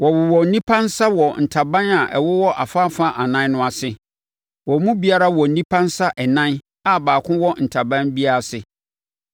Wɔwowɔ nnipa nsa wɔ ntaban a ɛwowɔ afa afa ɛnan no ase. Wɔn mu biara wɔ nnipa nsa ɛnan a baako wɔ ntaban biara ase,